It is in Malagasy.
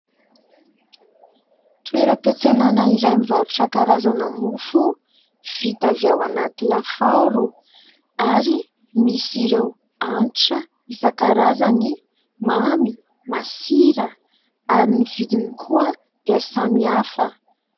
Toeram-piantsenàna iray mivarotra karazana mofo vita avy ao anaty lafaoro ary misy ireo hanitra isan-karazany mamy, masira ary ny vidiny koa dia samy hafa.